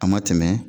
A ma tɛmɛ